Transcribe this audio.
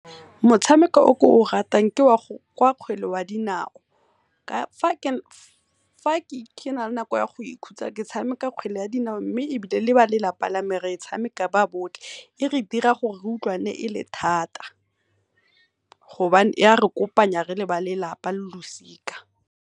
Motshameko o ke o ratang ke wa kgwele ya dinao, fa kena le nako ya go ikhutsa ke thsameka kgwele ya dinao mme ebile le ba lelapa lame re e tshameka ba botlhe. E re dira gore re utlwane e le thata gobane ya re kopanya re le ba lelapa lo losika.